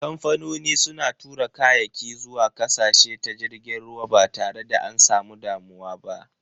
Kamfanoni suna tura kayaki zuwa ƙasashe ta jirgin ruwa ba tare da an samu damuwa ba.